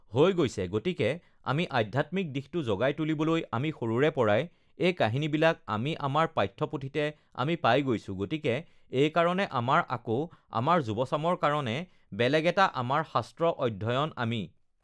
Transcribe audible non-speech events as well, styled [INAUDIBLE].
[NOISE] হৈ গৈছে, গতিকে আমি আধ্যাত্মিক দিশটো জগাই তুলিবলৈ আমি সৰুৰে পৰাই এই কাহিনীবিলাক আমি আমাৰ পাঠ্যপুথিতে আমি পাই গৈছোঁ গতিকে এইকাৰণে আমাৰ আকৌ আমাৰ যুৱচামৰ কাৰণে বেলেগ এটা আমাৰ শাস্ত্ৰ আ অধ্যয়ন আমি